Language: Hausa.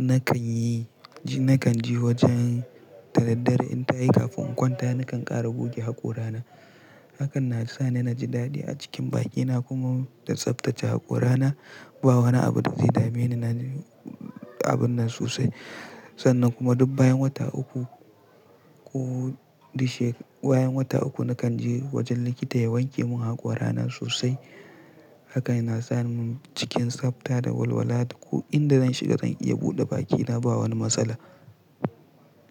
nakan yi, nakan je wajen dadaddare in tayi kafin in kwanta nakan ƙara goge haƙora na. Hakan na sa ni naji dadi a cikin bakina kuma da tsaftace haƙora na. Ba wani abu da zai dame ni, na ji abun nan sosai. Sannan kuma duk bayan wata uku ko dik she, bayan wata uku nakan je wajen likita ya wanke mun haƙora na sosai. Haka yana sa mun cikin tsafta da walwala. Ko inda zan shiga zan iya buɗe bakina ba wani matsala.